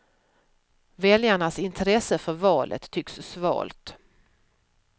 Väljarnas intresse för valet tycks svalt.